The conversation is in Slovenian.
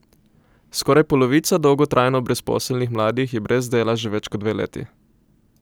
Skoraj polovica dolgotrajno brezposelnih mladih je brez dela že več kot dve leti.